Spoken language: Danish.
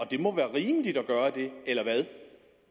det må være rimeligt at gøre det eller hvad